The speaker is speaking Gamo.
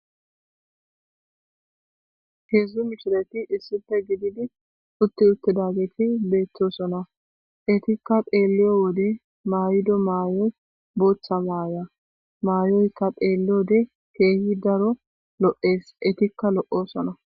Heedzdzu mishirati issife gididi utti uttidageti beettosona etikka deelliyo wode maaydo maayoy booththa maaya maayoyka deelleode keehi daro lo'ees etikka lo'o sona.